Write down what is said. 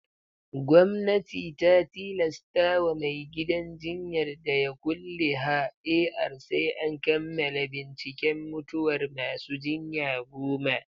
Gwamnati ta tilastawa mai gidan jinyar da ya kulle ha AR sai an kammala binciken mutuwar masu jinya goma